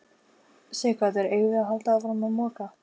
Sighvatur: Eigum við að halda áfram að moka?